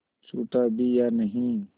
छूटा भी या नहीं